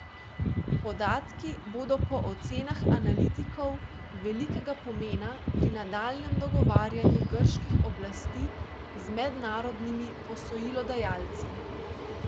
Podatki bodo po ocenah analitikov velikega pomena pri nadaljnjem dogovarjanju grških oblasti z mednarodnimi posojilodajalci.